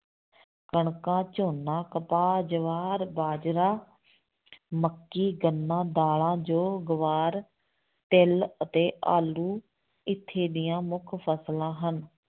ਕਣਕਾਂ, ਝੋਨਾ, ਕਪਾਹ, ਜਵਾਰ, ਬਾਜਰਾ ਮੱਕੀ, ਗੰਨਾ, ਦਾਲਾਂ, ਜੌਂ, ਗਵਾਰ, ਤਿੱਲ ਅਤੇ ਆਲੂ ਇੱਥੇ ਦੀਆਂ ਮੁੱਖ ਫਸਲਾਂ ਹਨ।